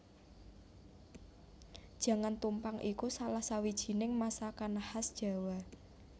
Jangan tumpang iku salah sawijining masakan khas Jawa